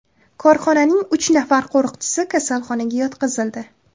Korxonaning uch nafar qo‘riqchisi kasalxonaga yotqizildi.